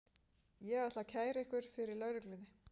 Ég ætla að kæra ykkur fyrir lögreglunni.